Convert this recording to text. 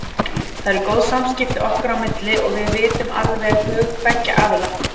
Það eru góð samskipti okkar á milli og við vitum alveg hug beggja aðila.